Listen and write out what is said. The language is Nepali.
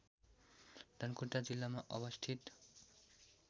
धनकुटा जिल्लामा अवस्थित